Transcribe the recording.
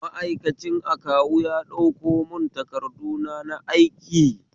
Ma'aikacin akawu ya ɗauko mun takarduna na aiki